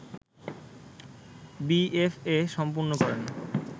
BFA সম্পন্ন করেন